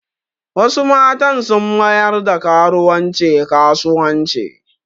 Wasu matan sun mayar da karuwanci kasuwanci